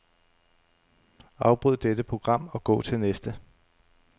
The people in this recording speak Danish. Afbryd dette program og gå til næste.